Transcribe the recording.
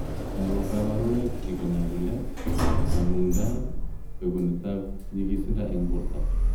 Ako kabarunoik chik ko nyalulet ,kangundaet, bekunet ab nyikisindo ab borto .